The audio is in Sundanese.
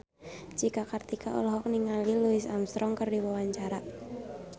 Cika Kartika olohok ningali Louis Armstrong keur diwawancara